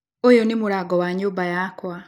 ũyũ nĩ mũrango wa nyũmba yakwa